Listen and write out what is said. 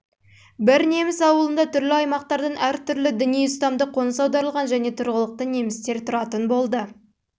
бір неміс ауылында түрлі аймақтардан әр түрлі діни ұстамды қоныс аударылған және тұрғылықты немістер тұратын болды